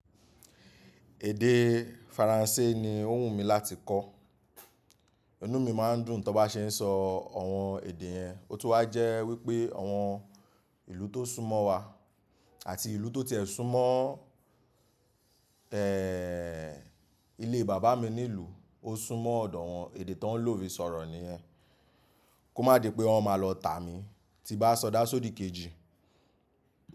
Èdè Faransé ni ó wù mí láti kọ́. Inú mi máa ń dùn tí mo bá ṣe ń sọ àwọn èdè yẹn. Ó tún wà jẹ́ wípé àwọn ìlú tó sún mọ́ wa àti ìlú tó tiẹ̀ sún mọ́, eh, ilé bàbá mi nílùú, ó sún mọ́ ọ̀dọ̀ wọn, èdè tó ń lò fi sọ̀rọ̀ nìyẹn. Kó má di pé wọ́n máa lọ tà mí tí bá sọdá sódi kejì.